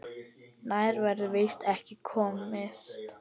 Nær verður víst ekki komist.